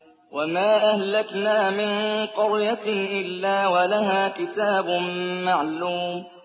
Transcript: وَمَا أَهْلَكْنَا مِن قَرْيَةٍ إِلَّا وَلَهَا كِتَابٌ مَّعْلُومٌ